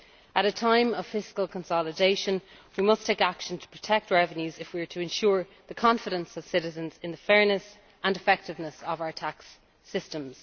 At a time of fiscal consolidation we must take action to protect revenues if we are to ensure the confidence of citizens in the fairness and effectiveness of our tax systems.